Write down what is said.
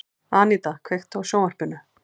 Aníta, kveiktu á sjónvarpinu.